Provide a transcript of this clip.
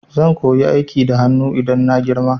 Zan koyi aikin hanu idan na girma